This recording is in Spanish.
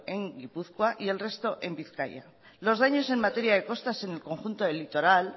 en gipuzkoa y el resto en bizkaia los daños en materia de costas en el conjunto del litoral